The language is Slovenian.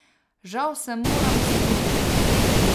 Žal se moram strinjati.